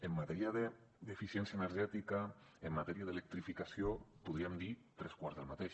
en matèria d’eficiència energètica en matèria d’electrificació podríem dir tres quarts del mateix